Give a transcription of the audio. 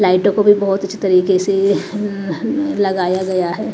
लाइटों को भी बहुत अच्छी तरीके से लगाया गया है।